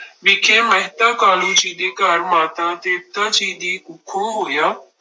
ਵਿਖੇ ਮਹਿਤਾ ਕਾਲੂ ਜੀ ਦੇ ਘਰ ਮਾਤਾ ਤ੍ਰਿਪਤਾ ਜੀ ਦੀ ਕੁੱਖੋਂ ਹੋਇਆ।